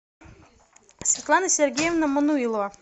светлана сергеевна мануилова